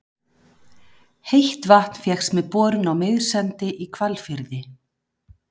Heitt vatn fékkst með borun á Miðsandi í Hvalfirði.